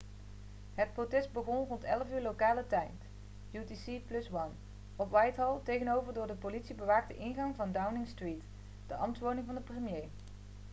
het protest begon rond 11.00 lokale tijd utc+1 op whitehall tegenover de door politie bewaakte ingang van downing street de ambtswoning van de premier